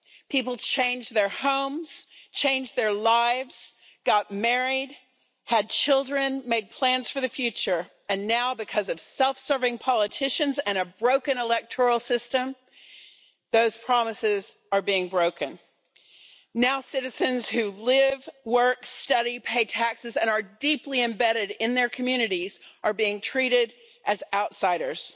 People changed their homes, changed their lives, got married, had children, made plans for the future, and now because of self-serving politicians and a broken electoral system, those promises are being broken. Now citizens who live, work, study, pay taxes and are deeply embedded in their communities are being treated as outsiders.